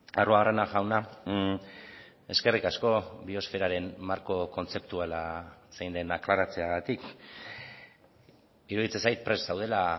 arruabarrena jauna eskerrik asko biosferaren marko kontzeptuala zein den aklaratzeagatik iruditzen zait prest zaudela